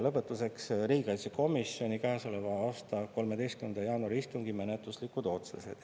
Lõpetuseks riigikaitsekomisjoni käesoleva aasta 13. jaanuari istungi menetluslikud otsused.